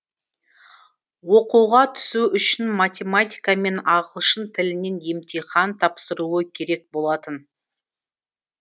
оқуға түсу үшін математика мен ағылшын тілінен емтихан тапсыруы керек болатын